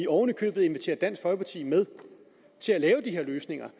oven i købet inviterer vi dansk folkeparti med til at lave de her løsninger